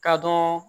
Ka dɔn